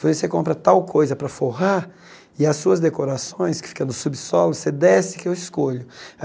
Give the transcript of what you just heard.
Falei, você compra tal coisa para forrar e as suas decorações que ficam no subsolo, você desce que eu escolho.